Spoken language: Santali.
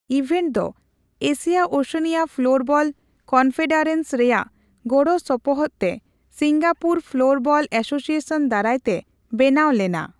ᱤᱵᱷᱮᱱᱴ ᱫᱚ ᱮᱥᱤᱭᱟ ᱳᱥᱮᱱᱤᱭᱟ ᱯᱷᱚᱞᱳᱨᱵᱚᱞ ᱠᱚᱱᱯᱷᱮᱰᱟᱨᱮᱱᱥ ᱨᱮᱭᱟᱜ ᱜᱚᱲᱚᱼᱥᱚᱯᱚᱦᱚᱫ ᱛᱮ ᱥᱤᱝᱜᱟᱯᱩᱨ ᱯᱷᱚᱳᱨᱵᱚᱞ ᱮᱥᱳᱥᱤᱭᱮᱥᱚᱱ ᱫᱟᱨᱟᱭᱛᱮ ᱵᱮᱱᱟᱣ ᱞᱮᱱᱟ ᱾